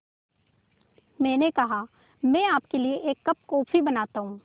मैंने कहा मैं आपके लिए एक कप कॉफ़ी बनाता हूँ